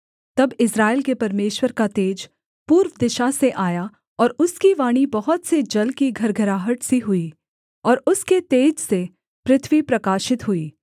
तब इस्राएल के परमेश्वर का तेज पूर्व दिशा से आया और उसकी वाणी बहुत से जल की घरघराहट सी हुई और उसके तेज से पृथ्वी प्रकाशित हुई